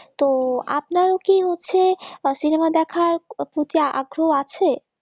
তো আপনারও কি হচ্ছে cinema দেখার প্রতি আগ্রহ আছে?